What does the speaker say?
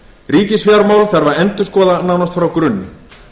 ríkisfjármál þarf að endurskoða nánast frá grunni